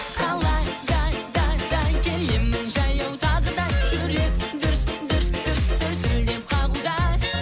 қалада да да келемін жаяу тағы да жүрек дүрс дүрс дүрс дүрсілдеп қағуда